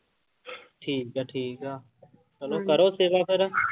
ਠੀਕ ਆ ਠੀਕ ਆ, ਚਲੋ ਕਰੋ ਸੇਵਾ ਫਿਰ।